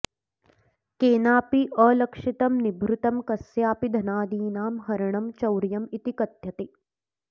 केनापि अलक्षितं निभृतं कस्यापि धनादीनां हरणं चौर्यम् इति कथ्यते